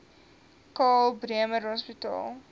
karl bremer hospitaal